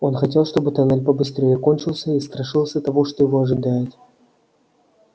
он хотел чтобы тоннель побыстрее кончился и страшился того что его ожидает